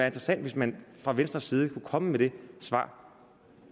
interessant hvis man fra venstres side kunne komme med det svar